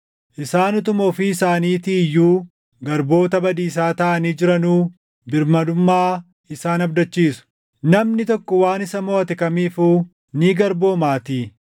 Isaan utuma ofii isaaniitii iyyuu garboota badiisaa taʼanii jiranuu birmadummaa isaan abdachiisu; namni tokko waan isa moʼate kamiifuu ni garboomaatii.